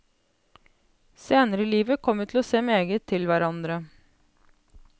Senere i livet kom vi til å se meget til hverandre.